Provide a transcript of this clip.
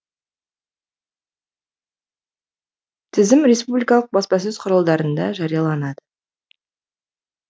тізім республикалық баспасөз құралдарында жарияланады